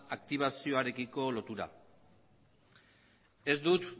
aktibazioarekiko lotura ez dut